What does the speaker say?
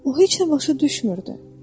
O heç nə başa düşmürdü.